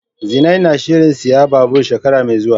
Zinai na shirin siyan babur shekara mai zuwa.